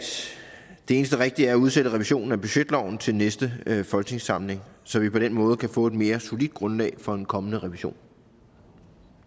det eneste rigtige er at udsætte revisionen af budgetloven til næste folketingssamling så vi på den måde kan få et mere solidt grundlag for en kommende revision